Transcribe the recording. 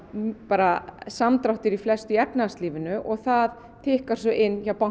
bara samdráttur í flestu í efnahagslífinu og það tikkar svo inn hjá